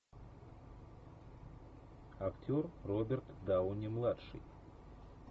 актер роберт дауни младший